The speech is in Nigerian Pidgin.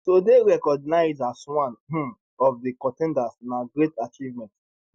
to dey recognised as one um of di con ten ders na great achievement